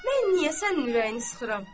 Mən niyə sənin ürəyini sıxıram?